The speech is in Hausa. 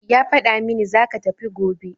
Ya fada mini zaka tafi gobe